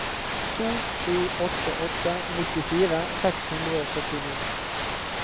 to sju åtte åtte nittifire seks hundre og syttini